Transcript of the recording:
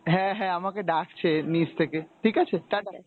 হ্যাঁ হ্যাঁ আমাকে ডাকছে নিচ থেকে ঠিকাছে ta-ta.